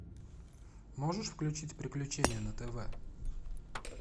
можешь включить приключения на тв